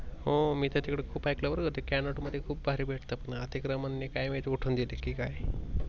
हो मी तर तिकड खूप ऐकलंय बर का ते Cannaught मध्ये खूप भारी भेटत पुन्हा तिकड मल काय माहित उठून देल काय.